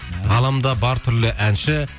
ғаламда бар түрлі әнші